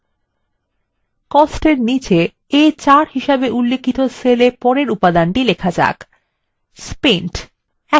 costsএর নীচে a4 হিসাবে উল্লিখিত cellএ পরের উপাদানটি লিখুনspent